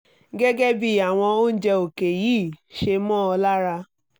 gẹ́gẹ́ bí àwọn oúnjẹ òkè yìí ṣe mọ́ ọ lára